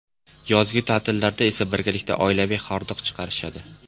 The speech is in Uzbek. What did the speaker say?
Yozgi ta’tillarda esa birgalikda oilaviy hordiq chiqarishadi.